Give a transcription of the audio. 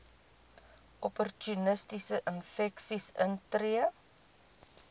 opportunistiese infeksies intree